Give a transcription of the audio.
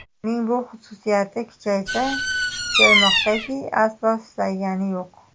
Uning bu xususiyati kuchaysa, kuchaymoqdaki, aslo susaygani yo‘q.